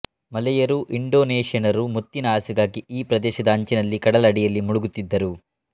ಮಲೆಯರೂ ಇಂಡೊನೇಷ್ಯನ್ನರೂ ಮುತ್ತಿನ ಆಸೆಗಾಗಿ ಈ ಪ್ರದೇಶದ ಅಂಚಿನ ಕಡಲ ಅಡಿಯಲ್ಲಿ ಮುಳುಗುತ್ತಿದ್ದರು